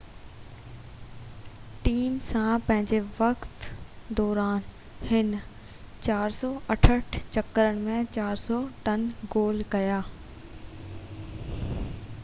team سان پنھنجي وقت دوران هن 468 چڪرن ۾ 403 گول ڪيا